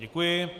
Děkuji.